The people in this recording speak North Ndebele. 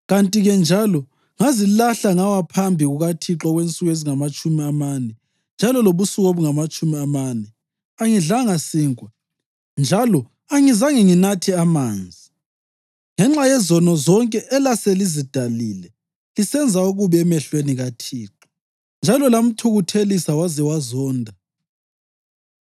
Kanti-ke njalo ngazilahla ngawa phambi kukaThixo okwensuku ezingamatshumi amane njalo lobusuku obungamatshumi amane; angidlanga sinkwa njalo angizange nginathe amanzi, ngenxa yezono zonke elaselizidalile, lisenza okubi emehlweni kaThixo njalo lamthukuthelisa waze wazonda.